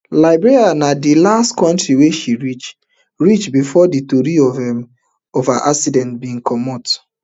liberia na di last kontri wey she reach reach before di tori of um her accident bin comot